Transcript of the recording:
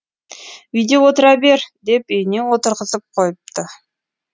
үйде отыра бер деп үйіне отырғызып қойыпты